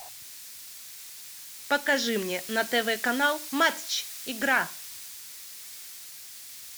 покажи мне на тв канал матч игра